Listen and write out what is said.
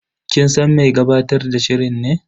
Kin san mai gabatar da shirin ne?